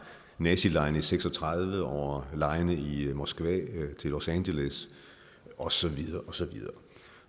nazilegene i nitten seks og tredive over legene i moskva og til los angeles og så videre osv